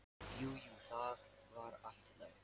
Jú, jú, það var allt í lagi.